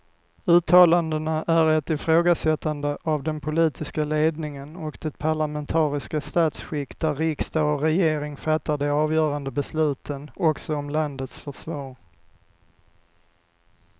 Uttalandena är ett ifrågasättande av den politiska ledningen och det parlamentariska statsskick där riksdag och regering fattar de avgörande besluten också om landets försvar.